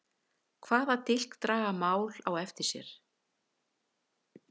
Hvaða dilk draga mál á eftir sér?